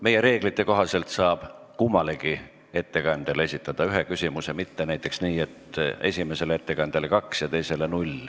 Meie reeglite kohaselt saab kummalegi ettekandjale esitada ühe küsimuse, mitte näiteks nii, et esimesele ettekandjale esitad kaks küsimust ja teisele null.